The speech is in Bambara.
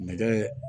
Nɛgɛ